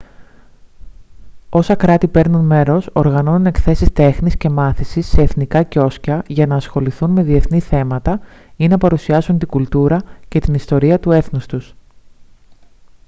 όσα κράτη παίρνουν μέρος οργανώνουν εκθέσεις τέχνης και μάθησης σε εθνικά κιόσκια για να ασχοληθούν με διεθνή θέματα ή να παρουσιάσουν την κουλτούρα και της ιστορία του έθνους τους